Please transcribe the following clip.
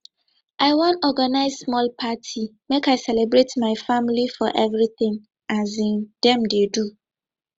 i wan organize small party make i celebrate my family for everytin um dem dey do